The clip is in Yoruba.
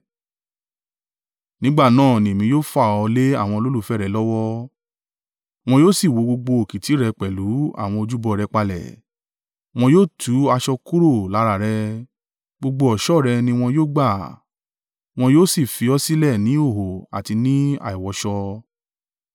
Nígbà náà ni èmi yóò fà ọ lé àwọn olólùfẹ́ rẹ lọ́wọ́, wọn yóò sì wó gbogbo òkìtì rẹ pẹ̀lú àwọn ojúbọ rẹ palẹ̀. Wọn yóò tú aṣọ kúrò lára rẹ̀, gbogbo ọ̀ṣọ́ rẹ ni wọn yóò gbà, wọn yóò sì fi ọ sílẹ̀ ní ìhòhò àti ní àìwọṣọ.